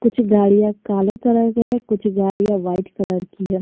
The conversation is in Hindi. कुछ गाड़ियां काले कलर के हैं कुछ गाड़ियां व्हाइट कलर की है।